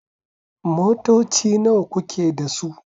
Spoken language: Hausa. Motoci nawa kuke da su?